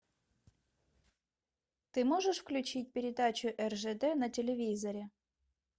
ты можешь включить передачу ржд на телевизоре